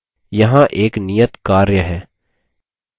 यहाँ एक नियत कार्य है